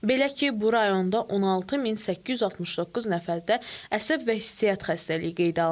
Belə ki, bu rayonda 16869 nəfərdə əsəb və hissiyyat xəstəliyi qeydə alınıb.